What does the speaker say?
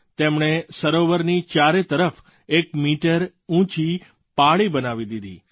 તેમણે સરોવરની ચારે તરફ એક મીટર ઊંચી પાળી બનાવી દીધી